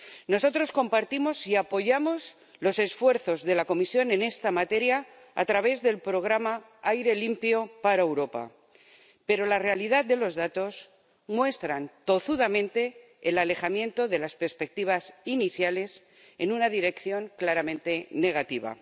Nosotros compartimos y apoyamos los esfuerzos de la Comisión en esta materia, a través del programa Aire limpio para Europa, pero la realidad de los datos muestra tozudamente el alejamiento de las perspectivas iniciales en una dirección claramente negativa.